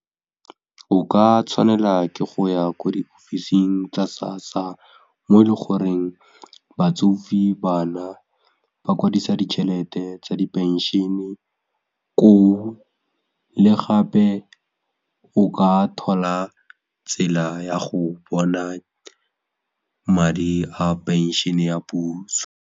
O ka tshwanela ke go ya ko diofising tsa SASSA mo le goreng batsofe, bana ba kwadisa ditšhelete tsa di phenšene koo le gape o ka thola tsela ya go bona madi a phenšene ya puso.